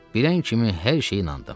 Bilən kimi hər şeyi inandım.